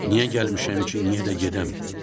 Niyə gəlmişəm ki, niyə də gedəm?